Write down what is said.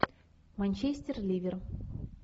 манчестер ливер